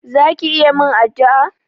Za ki iya min addu'a?